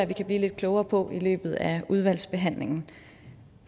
vi kan blive lidt klogere på i løbet af udvalgsbehandlingen